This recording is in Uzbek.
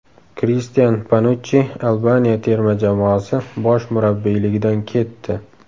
Kristian Panuchchi Albaniya terma jamoasi bosh murabbiyligidan ketdi.